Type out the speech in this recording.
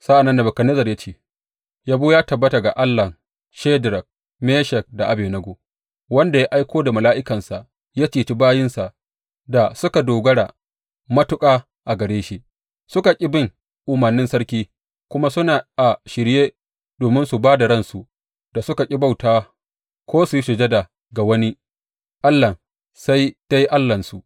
Sa’an nan Nebukadnezzar ya ce, Yabo ya tabbata ga Allahn Shadrak, Meshak da Abednego wanda ya aiko da mala’ikansa ya ceci bayinsa da suka dogara matuƙa a gare shi, suka ki bin umarnin sarki kuma su na a shirye domin su ba da ransu da suka ƙi bauta ko su yi sujada ga wani allah sai dai Allahnsu.